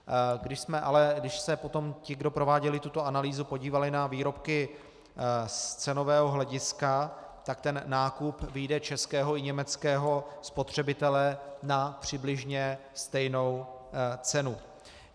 Když se potom ti, kdo prováděli tuto analýzu, podívali na výrobky z cenového hlediska, tak ten nákup vyjde českého i německého spotřebitele na přibližně stejnou cenu.